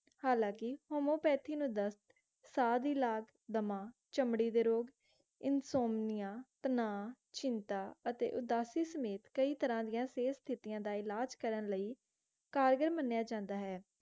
ਹਾਲਾਂਕਿ homeopathy ਨੂੰ ਦਸਤ, ਸਾਂਹ ਦੀ ਲਾਜ ਦਮਾਂ, ਚਮੜੀ ਦੇ ਰੋਗ, insomnia ਤਨਾਵ, ਚਿੰਤਾਂ ਅਤੇ ਉਦਾਸੀ ਸਮੇਤ ਕਈ ਤਰਾਂ ਦੀ ਸਿਹਤ ਸਥਿਤੀਆਂ ਦਾ ਇਲਾਜ ਕਰਨ ਲਈ ਕਾਰੀਗਰ ਮੰਨਿਆ ਜਾਂਦਾ ਹੈ